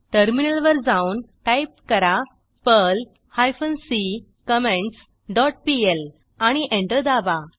टर्मिनलवर जाऊन टाईप करा Perl hyphen C comments dot PL आणि एंटर दाबा